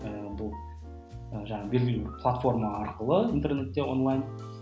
ыыы бұл ы жаңағы белгілі бір платформа арқылы интернетте онлайн